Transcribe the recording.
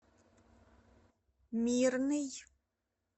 мирный